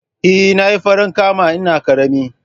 Eh, Nayi farankama ina ƙarama